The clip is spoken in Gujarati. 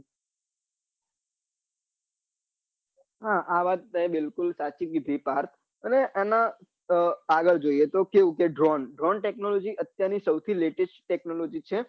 હા આ વાત તે બિલકુલ સાચી કીઘી પાર્થ અને એમાં આગળ જોઈએ તો dronedrone technology અત્યાર ની સૌથી latest technology છે